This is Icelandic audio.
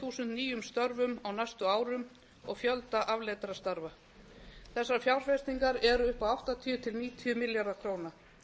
þúsund nýjum störfum á næstu árum og fjölda afleiddra starfa þessar fjárfestingar eru upp á áttatíu til níutíu milljarða króna